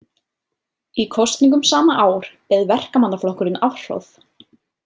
Í kosningum sama ár beið verkamannaflokkurinn afhroð.